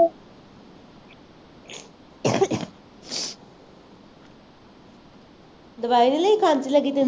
ਦਵਾਈ ਨਹੀਂ ਲਈ ਖਾਂਸੀ ਲੱਗੀ ਤੈਨੂੰ